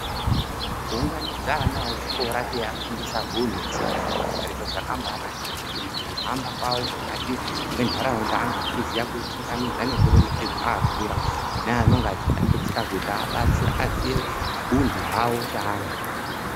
Kuunganidza ana echikora teiafundisa huntu, tsika nemagariro zvakambaanakira kuti mukuzohamba kwawo mukati mwentaraunda ange achiziva kuchingamidza nekuremekedza akura neanonga achitambudzika kuti abatsire kuti azive huntu hwawo seana.